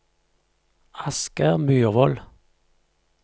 Asgeir Myrvold